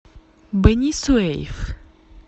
бени суэйф